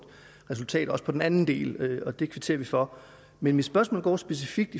resultat også på den anden del det kvitterer vi for men mit spørgsmål går specifikt